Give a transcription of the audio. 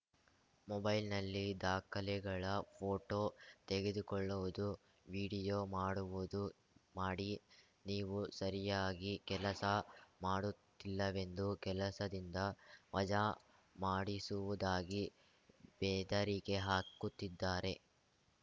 ಮೊಬೈಲ್‌ನಲ್ಲಿ ದಾಖಲೆಗಳ ಪೋಟೋ ತೆಗೆದುಕೊಳ್ಳುವುದು ವೀಡಿಯೋ ಮಾಡುವುದು ಮಾಡಿ ನೀವು ಸರಿಯಾಗಿ ಕೆಲಸ ಮಾಡುತ್ತಿಲ್ಲವೆಂದು ಕೆಲಸದಿಂದ ವಜಾ ಮಾಡಿಸುವುದಾಗಿ ಬೆದರಿಕೆ ಹಾಕುತ್ತಿದ್ದಾರೆ